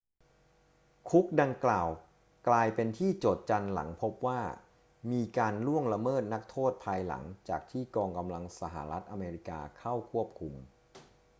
คุกดังกล่าวกลายเป็นที่โจษจันหลังพบว่ามีการล่วงละเมิดนักโทษภายหลังจากที่กองกำลังสหรัฐอเมริกาเข้าควบคุม